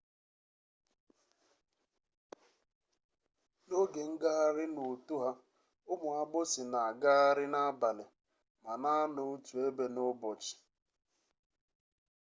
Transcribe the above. n'oge ngagharị n'uto ha ụmụ agbụsị na-agagharị n'abalị ma na-anọ otu ebe n'ụbọchị